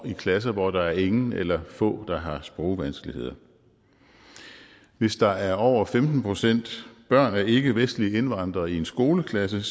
en klasse hvor der er ingen eller få der har sprogvanskeligheder hvis der er over femten procent børn af ikkevestlige indvandrere i en skoleklasse